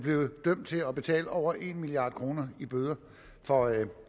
blevet dømt til at betale over en milliard kroner i bøder for